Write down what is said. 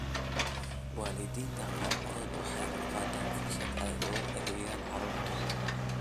Waalidiinta qaarkood waxay u qaataan fursad ay ugu adeegaan carruurtooda.